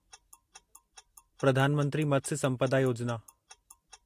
प्रधान मंत्री मत्स्य संपदा योजिना